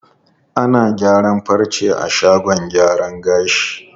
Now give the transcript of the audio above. Ana gyaran farce a shagon gyaran gashi.